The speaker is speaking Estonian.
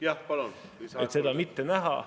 Jah, palun, lisaaeg kolm minutit!